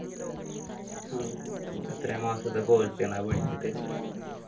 എത്രയോ മാസത്തെ course ആണ് അത് പഠിച്ചിട്ട്